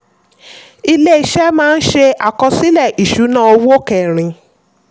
iléeṣẹ́ máa ń ṣe àkọsílẹ̀ ìṣúnná owó kẹrin.